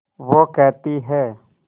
वो कहती हैं